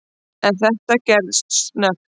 En þetta gerðist snöggt.